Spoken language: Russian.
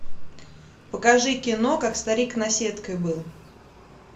покажи кино как старик наседкой был